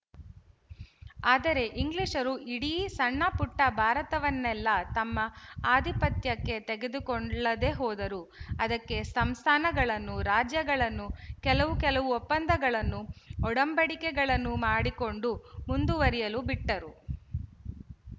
ಆದರೆ ಇಂಗ್ಲಿಶರು ಇಡೀ ಸಣ್ಣಪುಟ್ಟ ಭಾರತವನ್ನೆಲ್ಲಾ ತಮ್ಮ ಆಧಿಪತ್ಯಕ್ಕೆ ತೆಗೆದುಕೊಳ್ಳದೆ ಹೋದರು ಅದಕ್ಕೇ ಸಂಸ್ಥಾನಗಳನ್ನು ರಾಜ್ಯಗಳನ್ನು ಕೆಲವು ಕೆಲವು ಒಪ್ಪಂದಗಳನ್ನು ಒಡಂಬಡಿಕೆಗಳನ್ನು ಮಾಡಿಕೊಂಡು ಮುಂದುವರಿಯಲು ಬಿಟ್ಟರು